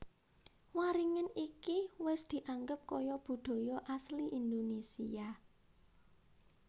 Waringin iki wis dianggep kaya budaya asli Indonesia